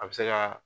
A bɛ se ka